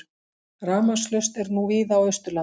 Rafmagnslaust er nú víða á Austurlandi